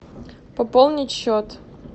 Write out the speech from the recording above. пополнить счет